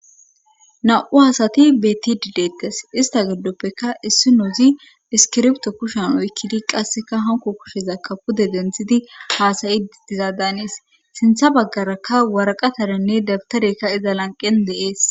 Na,u hasati betti didettes ista giddoppeka issi noozi iskirbto kushon oy kidi qasseka hanko kushiza kapude denthidi haasayi dizadanees sintha baggaraka waraqatarenne dabtarekka iza lanqen deees